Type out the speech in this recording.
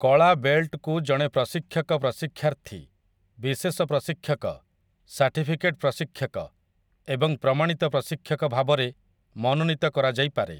କଳା ବେଲ୍ଟକୁ ଜଣେ ପ୍ରଶିକ୍ଷକ ପ୍ରଶିକ୍ଷାର୍ଥୀ, ବିଶେଷ ପ୍ରଶିକ୍ଷକ, ସାର୍ଟିଫିକେଟ୍ ପ୍ରଶିକ୍ଷକ ଏବଂ ପ୍ରମାଣିତ ପ୍ରଶିକ୍ଷକ ଭାବରେ ମନୋନୀତ କରାଯାଇପାରେ ।